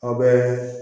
Aw bɛ